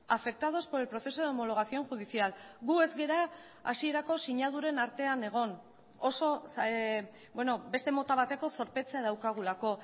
afectados por el proceso de homologación judicial gu ez gara hasierako sinaduren artean egon oso beste mota bateko zorpetzea daukagulako